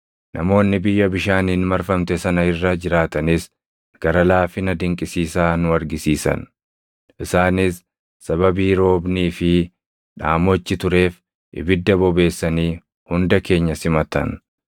Namoonni biyya bishaaniin marfamte sana irra jiraatanis gara laafina dinqisiisaa nu argisiisan. Isaanis sababii roobnii fi dhaamochi tureef ibidda bobeessanii hunda keenya simatan.